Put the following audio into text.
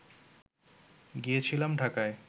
গিয়েছিলাম ঢাকায়